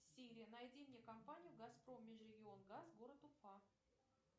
сири найди мне компанию газпром межрегион газ город уфа